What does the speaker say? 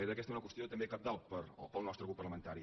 era aquesta una qüestió també cabdal pel nostre grup parlamentari